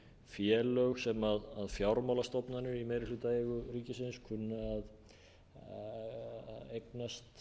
félög sem fjármálastofnanir í meirihlutaeigu ríkisins kunni að eignast við þær erfiðu aðstæður sem nú eru